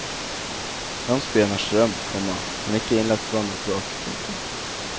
Landsbyen har strøm, komma men ikke innlagt vann og kloakk. punktum